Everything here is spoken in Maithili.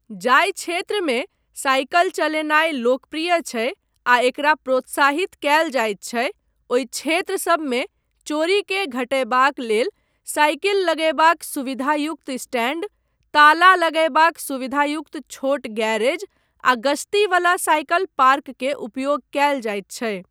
जाहि क्षेत्रमे साइकिल चलेनाय लोकप्रिय छै आ एकरा प्रोत्साहित कयल जायत छै ओहि क्षेत्र सबमे चोरीकेँ घटयबाक लेल साइकिल लगयबाक सुविधायुक्त स्टैण्ड, ताला लगयबाक सुविधायुक्त छोट गैरेज आ गश्ती वला साइकिल पार्क के उपयोग कयल जायत छै।